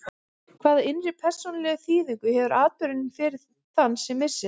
Hvaða innri persónulegu þýðingu hefur atburðurinn fyrir þann sem missir?